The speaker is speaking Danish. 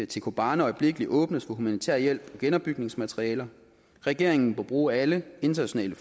til kobane øjeblikkeligt åbnes for humanitær hjælp og genopbygningsmaterialer regeringen bør bruge alle internationale